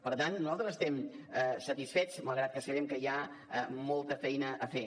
per tant nosaltres n’estem satisfets malgrat que sabem que hi ha molta feina a fer